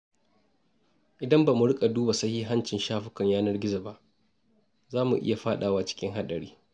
Idan ba mu rika duba sahihancin shafukan yanar gizo ba, za mu iya fadawa cikin haɗari.